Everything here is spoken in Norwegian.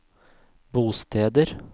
bosteder